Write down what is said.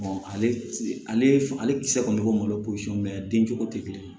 ale kisɛ kɔni malo posɔn mɛ den cogo tɛ kelen ye